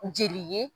Jeli ye